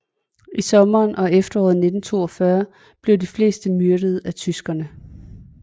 I sommeren og efteråret 1942 blev de fleste myrdet af tyskerne